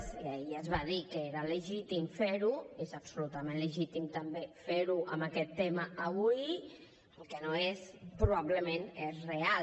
i ahir es va dir que era legítim fer ho i és absolutament legítim també fer ho amb aquest tema avui el que no és probablement és real